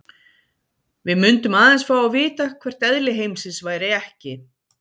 Við mundum aðeins fá að vita hvert eðli heimsins væri ekki.